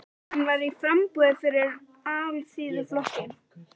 Hann var í framboði fyrir Alþýðuflokkinn.